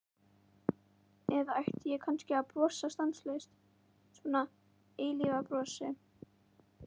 Eða ætti ég kannski að brosa stanslaust, svona eilífðarbrosi?